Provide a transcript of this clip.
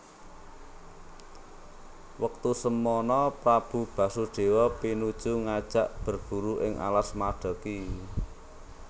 Wektu semana Prabu Basudewa pinuju ngajak berburu ing alas Madeki